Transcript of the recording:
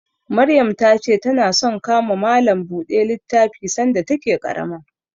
Maryam ta ce ta na son ka ma malam buɗe littafi sanda ta ke ƙarama